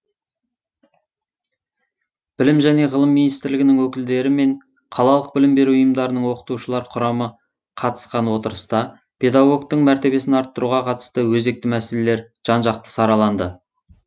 білім және ғылым министрлігінің өкілдері мен қалалық білім беру ұйымдарының оқытушылар құрамы қатысқан отырыста педагогтың мәртебесін арттыруға қатысты өзекті мәселелер жан жақты сараланды